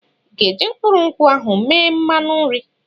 I ga-eji mkpụrụ nkwụ ahụ eme mmanụ nri?